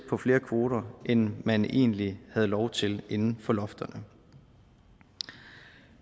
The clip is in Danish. flere kvoter end man egentlig havde lov til inden for lofterne